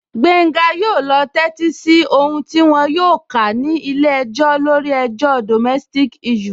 Gbenga yóò lọ tẹ́tí sí ohùn tí wọn yóò kà ní ilé-ẹjọ́ lórí ọ̀rọ̀ domestic issue